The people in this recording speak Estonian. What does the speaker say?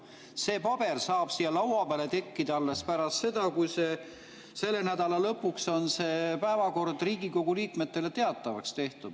See paber saab siia laua peale tekkida alles pärast seda, kui selle nädala lõpuks on päevakord Riigikogu liikmetele teatavaks tehtud.